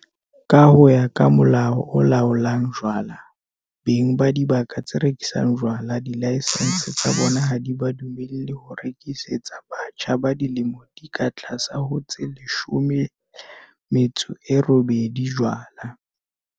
Ka ho ya ka Molao o Laolang Jwala, beng ba dibaka tse rekisang jwala dilaesense tsa bona ha di ba dumelle ho rekisetsa batjha ba dilemo di ka tlase ho tse 18 jwala.